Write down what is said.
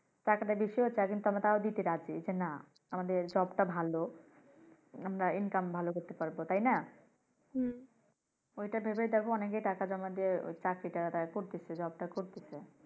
টাকা টা বেশি ও চায় তাও আমরা দিতে রাজি। যে না আমাদের job টা ভালো আমরা income ভালো করতে পাড়বো তাইনা? ঐটা ভেবেই দেখো অনেকে টাকা জমা দিয়ে ঐ চাকরিটা ওরা করতেছে ঐ job টা ওরা করতেছে।